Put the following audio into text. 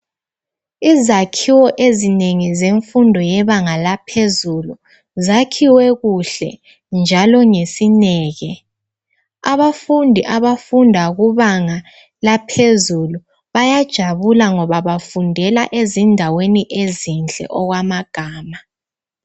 Izakhiwo ezinengi zemfundo yebanga laphezulu zakhiwe kuhle njalo ngesineke abafundi abafunda kubanga laphezulu bayajabula ngoba bafundela ezindaweni ezinhle okwamagama.